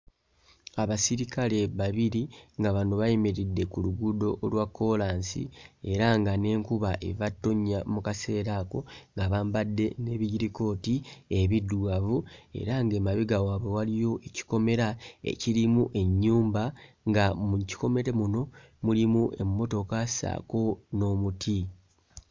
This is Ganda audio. Abasirikale babiri nga bano bayimiridde ku luguudo olwa kkoolansi era nga n'enkuba eva ttonnya mu kaseera ako nga bambadde n'ebijjirikooti ebiddugavu era ng'emabega wabwe waliyo ekikomera ekirimu ennyumba, nga mu kikomere muno mulimu emmotoka ssaako n'omuti.